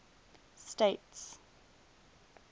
states